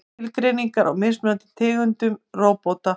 Skilgreiningar á mismunandi tegundum róbóta.